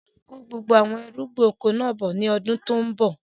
Kó gbogbo àwọn irúgbìn oko náà bọ̀ ni ọdún tòun bọ̀!